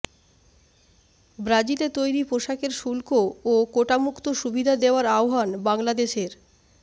ব্রাজিলে তৈরি পোশাকের শুল্ক ও কোটামুক্ত সুবিধা দেওয়ার আহ্বান বাংলাদেশের